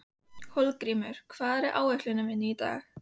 Hólmgrímur, hvað er á áætluninni minni í dag?